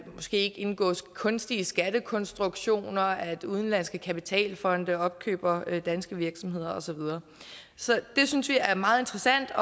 måske ikke indgås kunstige skattekonstruktioner eller at udenlandske kapitalfonde opkøber danske virksomheder osv så det synes vi er meget interessant og